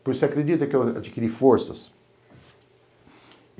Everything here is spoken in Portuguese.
Por isso você acredita que eu adquiri forças.